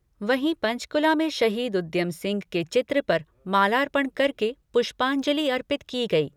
वहीं पंचकूला में शहीद उद्यम सिंह के चित्र पर मालापर्ण करके पुष्पांजलि अर्पित की गई।